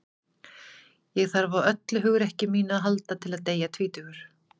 ég þarf á öllu hugrekki mínu að halda til að deyja tvítugur